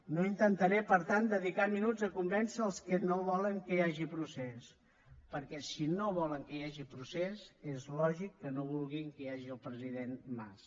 no intentaré per tant dedicar minuts a convèncer els que no volen que hi hagi procés perquè si no volen que hi hagi procés és lògic que no vulguin que hi hagi el president mas